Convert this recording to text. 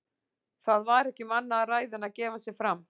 Það var ekki um annað að ræða en að gefa sig fram.